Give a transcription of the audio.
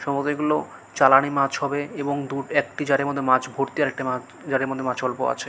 সম্ভবত এগুলো চালানি মাছ হবে এবং দু একটি জারের মধ্যে মাছ ভরতি আর একটি মাছ জারের মধ্যে অল্প মাছ আছে।